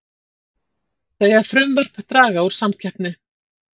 Segja frumvarp draga úr samkeppni